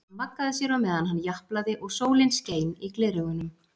Hann vaggaði sér á meðan hann japlaði og sólin skein í gleraugunum.